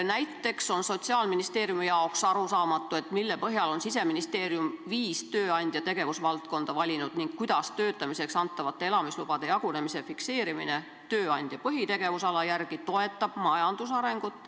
Näiteks on Sotsiaalministeeriumi jaoks arusaamatu, mille põhjal on Siseministeerium viis tööandja tegevusvaldkonda valinud ning kuidas töötamiseks antavate elamislubade jagunemise fikseerimine tööandja põhitegevusala järgi toetab majandusarengut.